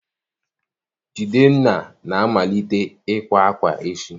Jidenna na-amalite ịkwa akwa echi